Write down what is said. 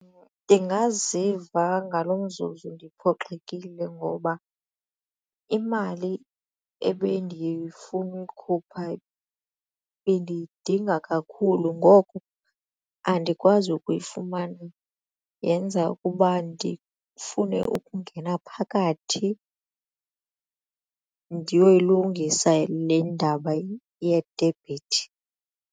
Ndingaziva ngaloo mzuzu ndiphoxekile ngoba imali ebendifuna uyikhupha bendiyidinga kakhulu ngoko andikwazi kuyifumana yenza ukuba ndifune ukungena phakathi ndiyoyilungisa le ndaba yedebhiti.